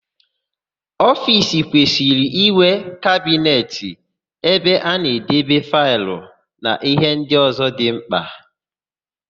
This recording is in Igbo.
Ofiisi kwesịrị ịnwe kabinet ebe a na-edebe faịlụ na íhé ndị ọ̀zọ́ dị ḿkpà.